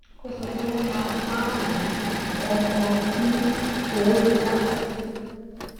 ó sọ pé wọn máa ń wá oun kọkọ fún owó dídá